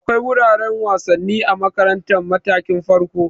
Akwai wuraren wasanni a makarantar matakin farko.